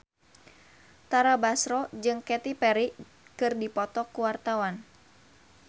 Tara Basro jeung Katy Perry keur dipoto ku wartawan